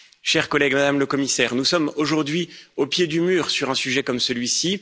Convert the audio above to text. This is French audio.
Chers collègues, Madame la Commissaire, nous sommes aujourd'hui au pied du mur sur un sujet comme celui